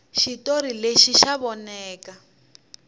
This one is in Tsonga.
xitori lexi xa voneka